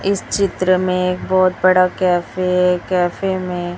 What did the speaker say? इस चित्र में एक बहोत बड़ा कैफ़े है कैफे में--